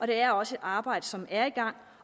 det er også et arbejde som er i gang